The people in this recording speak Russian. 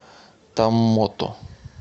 томмоту